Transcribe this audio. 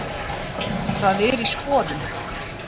Það er í skoðun.